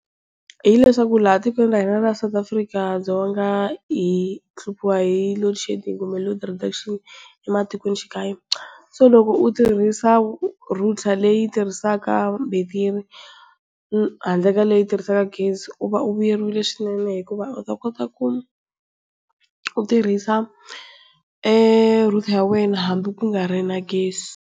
Hileswaku laha tikweni ra hina South African Dzonga hi hluphiwa hi loadshedding kumbe load reduction ematikoxikaya. So loko u tirhisa router leyi tirhisaka betiri handle ka leyi yi tirhisaka gezi u va u vuyeriwile swinene hikuva u ta kota ku u tirhisa eeh router ya wena hambi ku nga ri na gezi.